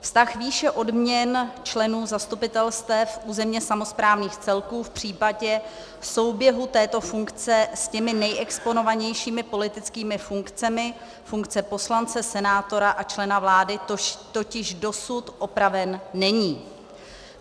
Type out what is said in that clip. Vztah výše odměn členů zastupitelstev územně samosprávných celků v případě souběhu této funkce s těmi nejexponovanějšími politickými funkcemi, funkce poslance, senátora a člena vlády, totiž dosud upraven není.